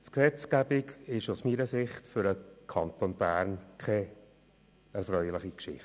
Die Gesetzgebung ist aus meiner Sicht für den Kanton Bern keine erfreuliche Geschichte.